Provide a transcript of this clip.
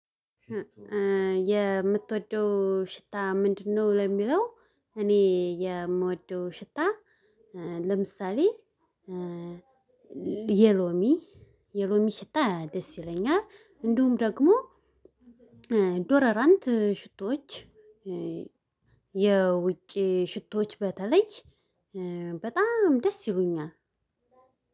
የምትወደው ሽታ ምንድነው ለሚለው? እኔ የምወደው ሽታ። ለምሳሌ የሎሚ የሎሚ ሽታ ደስ ይለኛል። እንዲሁም ደግሞ ዶደራንት ሽቶዎች። የውጭ ሽቶዎች በተለይ በጣም ደስ ይሉኛል።